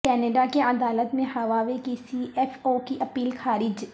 Canada کی عدالت میں ہواوے کی سی ایف او کی اپیل خارج